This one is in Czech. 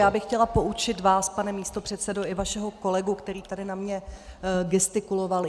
Já bych chtěla poučit vás, pane místopředsedo, i vašeho kolegu, který tady na mě gestikuloval.